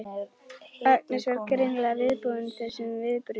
Agnes var greinilega viðbúin þessum viðbrögðum.